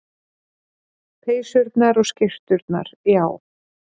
Peysurnar og skyrturnar, já.